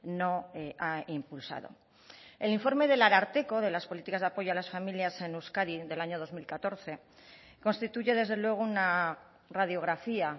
no ha impulsado el informe del ararteko de las políticas de apoyo a las familias en euskadi del año dos mil catorce constituye desde luego una radiografía